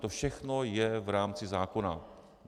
To všechno je v rámci zákona.